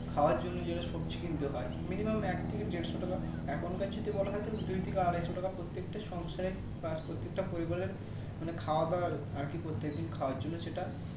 খাওয়ার জন্য যেটা সবজি কিনতে হয় Minimam এক থেকে দেড়শো টাকা এখনকার যদি বলা হয় দুই থেকে আড়াইশো টাকা প্রত্যেকটা সংসারে বা প্রত্যেকটা পরিবারের মানে খাওয়া দাওয়া আরকি প্রত্যেকদিন খাওয়ার জন্য সেটা